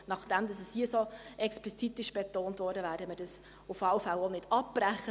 Nachdem es hier so explizit betont wurde, werden wir das auf jeden Fall auch nicht abbrechen.